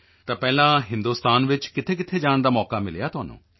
ਤਾਂ ਪਹਿਲਾਂ ਹਿੰਦੋਸਤਾਨ ਵਿੱਚ ਕਿੱਥੇਕਿੱਥੇ ਜਾਣ ਦਾ ਮੌਕਾ ਮਿਲਿਆ ਤੁਹਾਨੂੰ